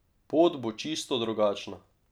Pot bo čisto drugačna.